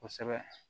Kosɛbɛ